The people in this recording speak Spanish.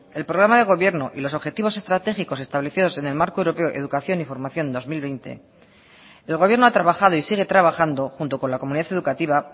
el programa de gobierno y los objetivos estratégicos establecidos en el marco europeo de educación y formación dos mil veinte el gobierno ha trabajado y sigue trabajando junto con la comunidad educativa